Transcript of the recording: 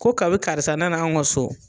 Ko kalo karisa nana anw ka so.